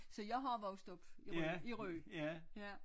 Så jeg har vokset op i Rø i Rø ja